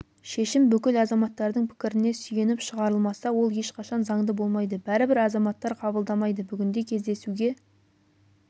шешім бүкіл азаматтардың пікіріне сүйеніп шығарылмаса ол ешқашан заңды болмайды бәрібір азаматтар қабылдамайды бүгінде кездесуге